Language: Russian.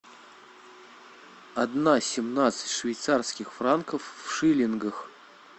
одна семнадцать швейцарских франков в шиллингах